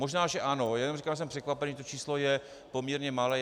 Možná že ano, jen říkám, že jsem překvapený, že to číslo je poměrně malé.